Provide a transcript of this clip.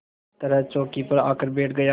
तरह चौकी पर आकर बैठ गया